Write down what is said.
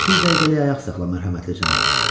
Bir dəqiqəlik ayaq saxla, mərhəmətli cənab.